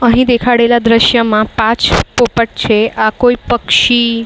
અહીં દેખાડેલા દ્રશ્યમાં પાંચ પોપટ છે. આ કોઈ પક્ષી--